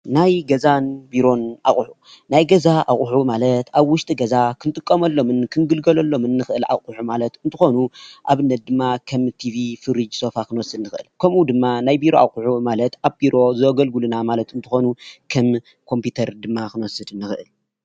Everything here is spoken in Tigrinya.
ናይ ገዛን ቢሮን ኣቑሑት ፥-ናይ ገዛ ኣቑሑ ማለት ኣብ ዉሽጢ ገዛ ክንጥቀመሎምን ክንግልገሎሎምን ንኽእል ኣቑሑ ማለት እንትኾኑ ኣብነት:- ድማ ከም ቲቪ፣ ፍርጅ፣ ሶፋ ክንወስድ ንኽእል። ከምኡ ድማ ናይ ቢሮ ኣቑሑት ማለት ኣብ ቢሮ ዘገልግሉና ማለት እንትኾኑ ከም ኮምፒዩተር ድማ ክንወስድ ንኽእል።